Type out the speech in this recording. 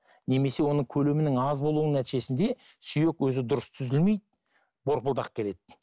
немесе оның көлемінің аз болуынынң нәтижесінде сүйек өзі дұрыс түзілмейді борпылдақ келеді